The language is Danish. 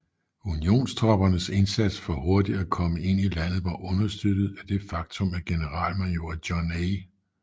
Unionstroppernes indsats for hurtigt at komme ind i landet var understøttet af det faktum at generalmajor John A